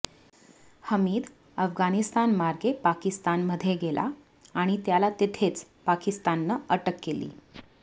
हमीद अफगणिस्तानमार्गे पाकिस्तानमध्ये गेला आणि त्याला तिथेच पाकिस्ताननं अटक केली